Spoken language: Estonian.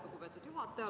Lugupeetud juhataja!